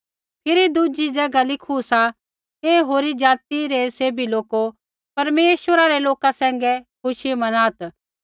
फिरी दुज़ी ज़ैगा लिखू सा हे होरी ज़ाति रै सैभी लोको परमेश्वरा रै लोका सैंघै खुशी मनात्